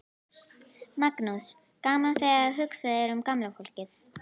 Magnús: Gaman þegar hugsað er um gamla fólkið?